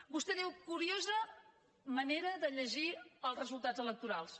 vostè diu curiosa manera de llegir els resultats electorals